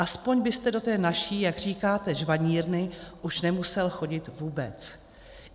Aspoň byste do té naší, jak říkáte, žvanírny už nemusel chodit vůbec.